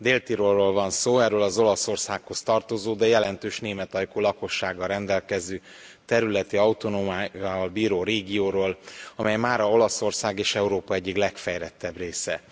Dél Tirolról van szó, erről az Olaszországhoz tartozó, de jelentős németajkú lakossággal rendelkező területi autonómiával bíró régióról, amely mára Olaszország és Európa egyik legfejlettebb része.